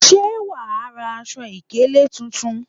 Ṣé wàá ra aṣọ ìkélé tuntun?